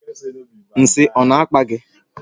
Nshị ọ na-akpa gị?